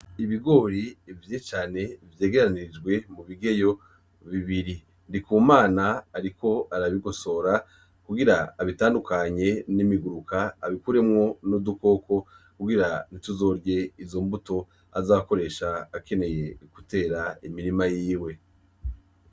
Ibigori bibivye cane vyegereranijwe mubigeyo bibiri, Ndikumana ariko arabigosora kugira abitandukanye n'imiguruka abikuremwo n'utundi dukoko kugira tuzorye izo mbuto azokoresha akeneye gutera imirima yiwe.